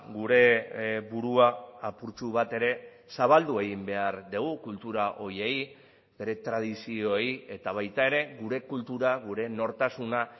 gure burua apurtxo bat ere zabaldu egin behar dugu kultura horiei bere tradizioei eta baita ere gure kultura gure nortasuna